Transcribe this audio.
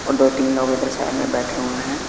और दो तीन लोग इधर साइड में बैठे हुए हैं।